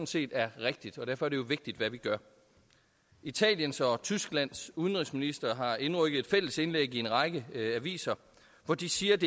set er rigtigt og derfor er det jo vigtigt hvad vi gør italiens og tysklands udenrigsministre har indrykket et fælles indlæg i en række aviser hvor de siger at